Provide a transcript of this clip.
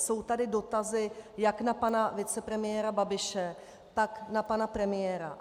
Jsou tady dotazy jak na pana vicepremiéra Babiše, tak na pana premiéra.